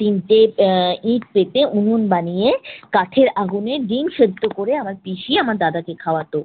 তিনটি আহ ইট পেতে উনুন বানিয়ে কাঠের আগুনে ডিম সিদ্ধ করে আমার পিসি আমার দাদাকে খাওয়াত।